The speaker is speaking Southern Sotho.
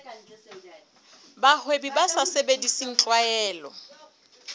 bahwebi ba sa sebedise tlwaelo